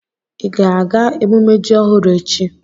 Ị ga-aga emumme ji ọhụrụ echi?